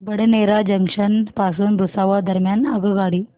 Badnera junction पासून भुसावळ दरम्यान आगगाडी